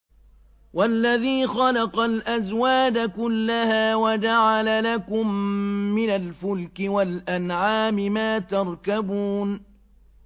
وَالَّذِي خَلَقَ الْأَزْوَاجَ كُلَّهَا وَجَعَلَ لَكُم مِّنَ الْفُلْكِ وَالْأَنْعَامِ مَا تَرْكَبُونَ